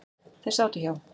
Þeir sátu hjá.